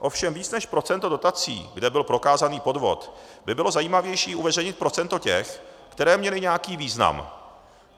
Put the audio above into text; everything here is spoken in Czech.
Ovšem víc než procento dotací, kde byl prokázaný podvod, by bylo zajímavější uveřejnit procento těch, které měly nějaký význam.